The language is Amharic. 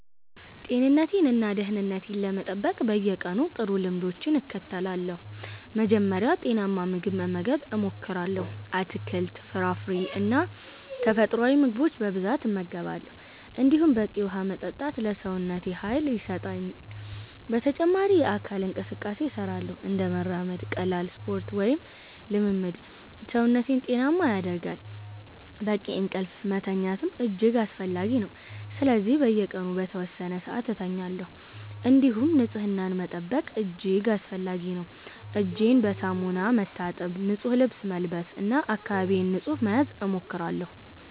ጤንነቴን እና ደህንነቴን ለመጠበቅ በየቀኑ ጥሩ ልምዶችን እከተላለሁ። መጀመሪያ ጤናማ ምግብ መመገብ እሞክራለሁ፤ አትክልት፣ ፍራፍሬ እና ተፈጥሯዊ ምግቦች በብዛት እመገባለሁ። እንዲሁም በቂ ውሃ መጠጣት ለሰውነቴ ኃይል ይሰጣል። በተጨማሪም የአካል እንቅስቃሴ እሰራለሁ፤ እንደ መራመድ፣ ቀላል ስፖርት ወይም ልምምድ ሰውነቴን ጤናማ ያደርጋል። በቂ እንቅልፍ መተኛትም እጅግ አስፈላጊ ነው፤ ስለዚህ በየቀኑ በተወሰነ ሰዓት እተኛለሁ። እንዲሁም ንጽህና መጠበቅ እጅግ አስፈላጊ ነው፤ እጄን በሳሙና መታጠብ፣ ንጹህ ልብስ መልበስ እና አካባቢዬን ንጹህ መያዝ እሞክራለሁ።